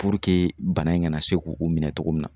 bana in kana se k'o minɛ cogo min na